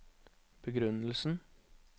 begrunnelsen